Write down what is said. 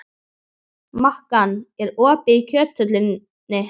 Makan, er opið í Kjöthöllinni?